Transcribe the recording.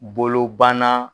Bolo banna.